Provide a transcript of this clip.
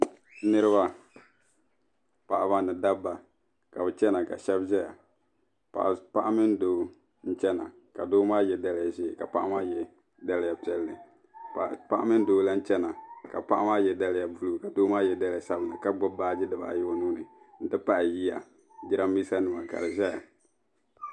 Niribi paɣaba ni dabba ka bi chana ka shɛb zaya paɣa mini doo n chana ka doo maa ye daliya ʒee ka paɣa maa ye daliya piɛlli paɣa mini doo lan chana ka paɣa maa ye daliya buluu ka doo ye daliya sabinli ka gbubi baagi dibaayi o nuuni n ti pahi yiya giraanmiisanima ka di zaya.